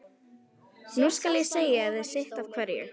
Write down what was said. Nú skal ég segja þér sitt af hverju.